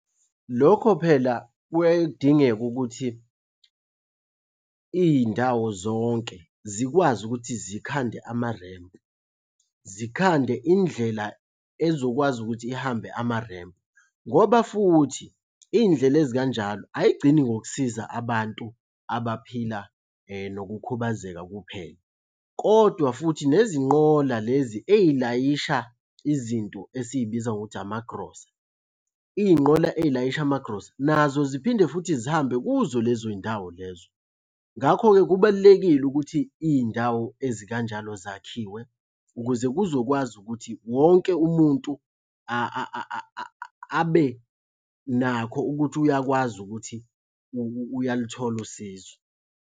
Lokho phela kuyaye kudingeke ukuthi iy'ndawo zonke zikwazi ukuthi zikhande amarempu. Zikhande indlela ezokwazi ukuthi ihambe amarempu, ngoba futhi iy'ndlela ezikanjalo ay'gcini ngokusiza abantu abaphila nokukhubazeka kuphela, kodwa futhi nezinqola lezi ey'layisha izinto esiy'biza ngokuthi amagrosa. Iy'nqola ey'layisha amagrosa, nazo ziphinde futhi zihambe kuzo lezo y'ndawo lezo. Ngakho-ke kubalulekile ukuthi iy'ndawo ezikanjalo zakhiwe ukuze kuzokwazi ukuthi wonke umuntu abe nakho ukuthi uyakwazi ukuthi uyaluthola usizo.